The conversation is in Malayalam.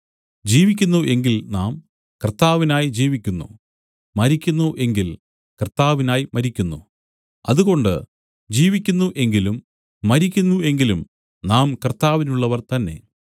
ജീവിക്കുന്നു എങ്കിൽ നാം കർത്താവിനായി ജീവിക്കുന്നു മരിക്കുന്നു എങ്കിൽ കർത്താവിനായി മരിക്കുന്നു അതുകൊണ്ട് ജീവിക്കുന്നു എങ്കിലും മരിക്കുന്നു എങ്കിലും നാം കർത്താവിനുള്ളവർ തന്നേ